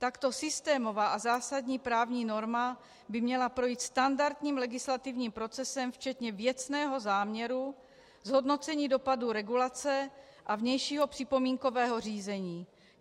Takto systémová a zásadní právní norma by měla projít standardním legislativním procesem včetně věcného záměru, zhodnocení dopadu regulace a vnějšího připomínkového řízení.